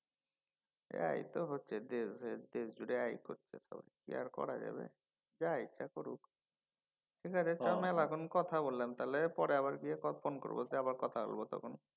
হ্যাঁ এই তো হচ্ছে দেশ জুড়ে এই হচ্ছে সব। কি আর করা যাবে। যা ইচ্ছা করুক। ঠিক আছে চল ভাই অনেকক্ষণ কথা বললাম তাহলে পরে আবার গিয়ে ফোন করব আবার কথা বলবো তখন।